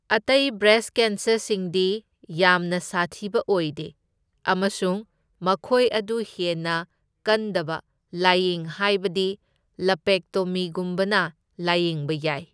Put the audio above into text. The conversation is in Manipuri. ꯑꯇꯩ ꯕ꯭ꯔꯦꯁ ꯀꯦꯟꯁꯔꯁꯤꯡꯗꯤ ꯌꯥꯝꯅ ꯁꯥꯊꯤꯕ ꯑꯣꯏꯗꯦ ꯑꯃꯁꯨꯡ ꯃꯈꯣꯢ ꯑꯗꯨ ꯍꯦꯟꯅ ꯀꯟꯗꯕ ꯂꯥꯢꯌꯦꯡ ꯍꯥꯢꯕꯗꯤ ꯂꯝꯄꯦꯛꯇꯣꯃꯤ ꯒꯨꯝꯕꯅ ꯂꯥꯢꯌꯦꯡꯕ ꯌꯥꯢ꯫